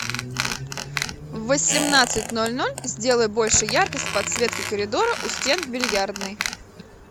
в восемнадцать ноль ноль сделай больше яркость подсветки коридора у стен в бильярдной